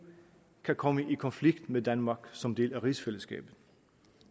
kan komme i konflikt med danmark som en del af rigsfællesskabet